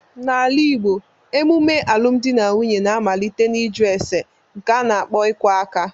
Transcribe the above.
N'ala igbo, emume alụmdi na nwunye na-amalite n'iju ésè nke a n'akpo iku aka